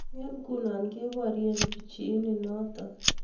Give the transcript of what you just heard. Eng' ng'uno kebarie pichiyin notok